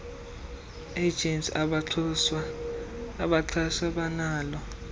agents abaxhaswa banalo